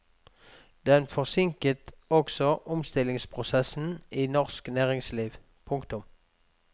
Den forsinket også omstillingsprosessen i norsk næringsliv. punktum